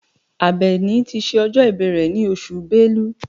Àbẹ̀ní ti ṣe ọjọ́ ìbí rẹ̀ ní oṣù Bẹ́lú.